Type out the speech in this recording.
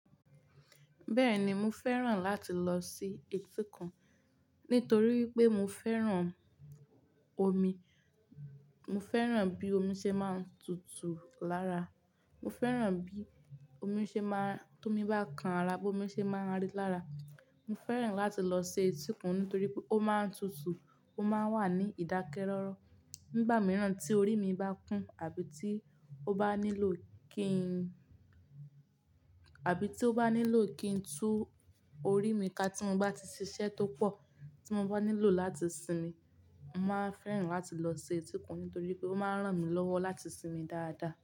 Bẹ́ẹ̀ni, mo fẹ́ràn láti lọ sí etíkun nítorí pé mo fẹ́ràn omi. Mo fẹ́ràn bí omi ṣe máa ń tutù lára, mo fẹ́ràn bí omi ṣe máa-- tó mi bá kan ara, bí omi ṣe máa ń rí lára. Mo fẹ́ràn láti lọ sí etíkun nítorí pé ó máa ń tutù, ó máa ń wà ní ìdákẹ́rọ́rọ́. Nígbà mìíràn tí orí mi bá kún àbí tí ó bá nílò kí n, àbí tí ó bá nílò kí n tú orí mi ká tí mo bá ti ṣiṣẹ́ tó pọ̀, tí mo bá nílò láti sinmi, mo máa ń fẹ́ràn láti lọ sí etíkun nítorí pé ó máa ń ràn mí lọ́wọ́ láti sinmi dáadáa.